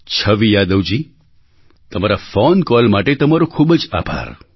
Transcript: છવિ યાદવજી તમારા phone call માટે તમારો ખૂબ જ આભાર